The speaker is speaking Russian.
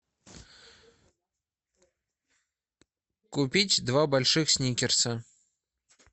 купить два больших сникерса